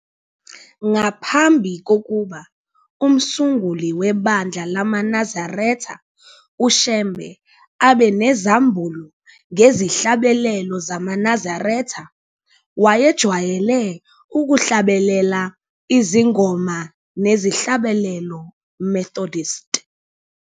Ngaphambi kokuba umsunguli webandla lamaNazaretha uShembe abe nezambulo ngezihlabelelo zamaNazaretha, wayejwayele ukuhlabelela izingoma nezihlabelelo Methodist.